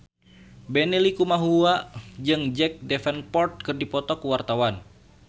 Benny Likumahua jeung Jack Davenport keur dipoto ku wartawan